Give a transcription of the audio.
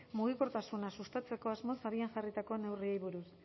mugikortasuna sustatzeko asmoz abian jarritako neurriei buruz